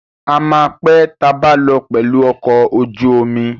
A máa pé tabá lọ pẹ̀lù ọkọ̀ ojú omi.